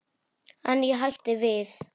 En ég hætti við.